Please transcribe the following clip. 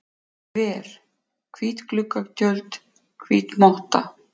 ver, hvít gluggatjöld, hvít motta.